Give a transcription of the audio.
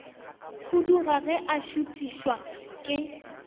khuduga ge a šuthišwa ke